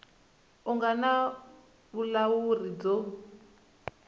a nga na vulawuri byo